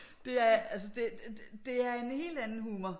Det er altså det er en helt anden humor